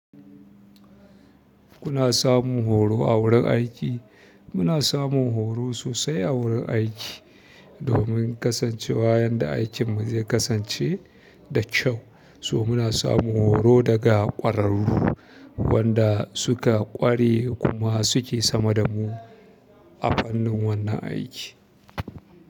Kuna samun horo a wurin aiki? Muna samun horo sosai a wurin aiki domin kasancewa yanda aikin mu zai kasance da kyau. To muna samun horo daga ƙwararru wanda suka ƙware kuma suke sama da mu a fannin wannan aiki.